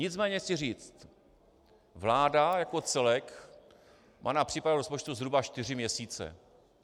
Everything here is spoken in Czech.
Nicméně chci říct, vláda jako celek má na přípravu rozpočtu zhruba čtyři měsíce.